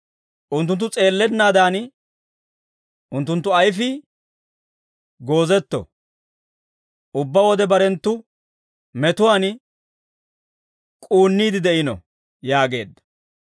Unttunttu s'eellennaadan, unttunttu ayfii goozetto; ubbaa wode barenttu metuwaan k'uunniide de'iino» yaageedda.